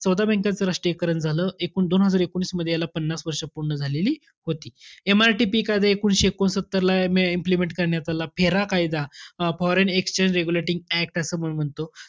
चौदा bank च राष्ट्रीयकरण झालं. एकूण दोन हजार एकोणिसमध्ये याला पन्नास वर्ष पूर्ण झालेली होती. MRTP कायदा एकोणीसशे एकोणसत्तरला implement करण्यात आला. F. E. R. A कायदा foreign exchange regulating act असं म्हणून म्हणतो.